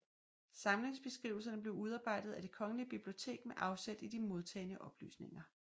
Samlingsbeskrivelser blev udarbejdet af Det Kongelige Bibliotek med afsæt i de modtagne oplysninger